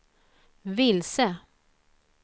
vilse